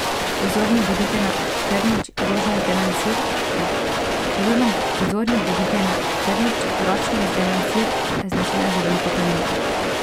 Pozorni bodite na trnič, ročno izdelan sir, značilen za Veliko planino.